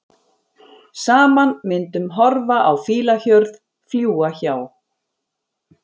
Saman myndum horfa á fílahjörð, fljúga hjá.